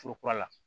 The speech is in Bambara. Foro kura la